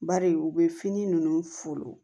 Bari u bɛ fini ninnu folon